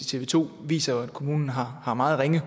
tv to viser jo at kommunen har har meget ringe